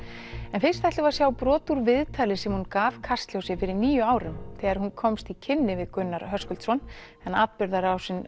en fyrst ætlum við að sjá brot úr viðtali sem hún gaf Kastljósi fyrir níu árum þegar hún komst í kynni við Gunnar en atburðarásin